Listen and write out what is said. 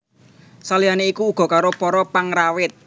Saliyane iku uga karo para pengrawit